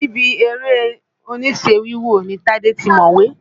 Níbi eré-oníṣe wíwò ni Tadè ti mọ̀wé.